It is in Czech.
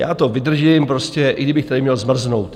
Já to vydržím prostě, i kdybych tady měl zmrznout!